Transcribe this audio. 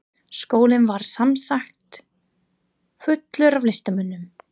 Skólinn var sem sagt fullur af listamönnum.